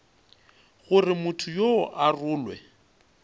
gore motho yoo a rolwe